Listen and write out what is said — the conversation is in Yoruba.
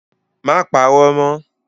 Má parọ́ mọ́!